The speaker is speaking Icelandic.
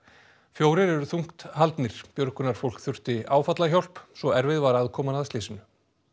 fjórir eru þungt haldnir björgunarfólk þurfti áfallahjálp svo erfið var aðkoman að slysinu